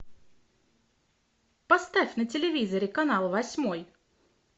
поставь на телевизоре канал восьмой